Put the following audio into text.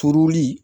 Turuli